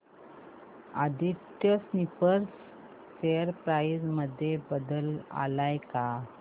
Aditya spinners share price मध्ये बदल आलाय का